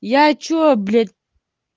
я что блять